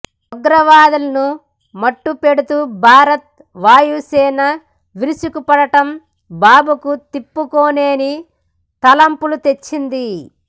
ఉగ్రవాదులను మట్టుపెడుతూ భారత వాయుసేన విరుచుకుపడటం బాబుకు తిప్పుకోలేని తలవంపులు తెచ్చింది